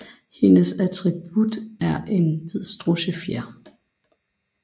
Hendes attribut er en hvid strudsefjer